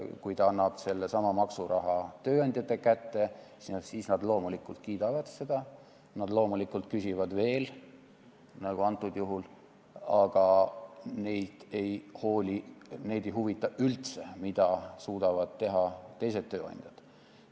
Kui ta annab sellesama maksuraha tööandjate kätte, siis nad loomulikult kiidavad seda, nad loomulikult küsivad veel, nagu antud juhul, aga neid ei huvita üldse, mida suudavad teha teised tööandjad.